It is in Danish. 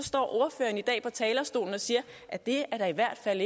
i dag står på talerstolen og siger at det da i hvert fald